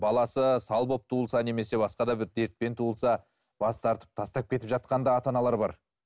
баласы сал болып туылса немесе басқа да бір дертпен туылса бас тартып тастап кетіп жатқан да ата аналар бар